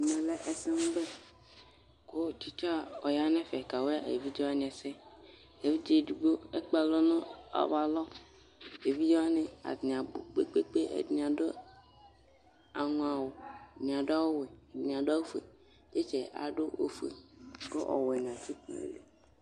Ɛmɛ lɛ ɛsɛmʋbɛ Tsɩtsa ɔya nʋ ɛfɛ kawa evidze wanɩ ɛsɛ Evidze edigbo ekpe alɔ nʋ awʋalɔ Evidze wanɩ atanɩ abʋ kpe-kpe-kpe Ɛdɩnɩ adʋ aŋɔawʋ ɛdɩnɩ adʋ awʋwɛ, ɛdɩnɩ adʋ awʋfue Tsɩtsa yɛ adʋ awʋfue kʋ ɔwɛnɩ atsɩ dʋ nʋ ayili